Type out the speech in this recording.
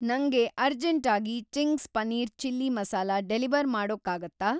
ನಂಗೆ ಅರ್ಜೆಂಟಾಗಿ Ching's paneer chilli masala deliver ಮಾಡೋಕ್ಕಾಗತ್ತಾ?